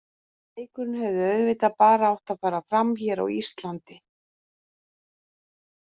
Leikurinn hefði auðvitað bara átt að fara fram hér á Íslandi.